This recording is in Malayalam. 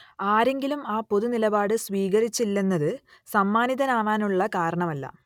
ആരെങ്കിലും ആ പൊതുനിലപാട് സ്വീകരിച്ചില്ലെന്നത് സമ്മാനിതനാവാനുള്ള കാരണമല്ല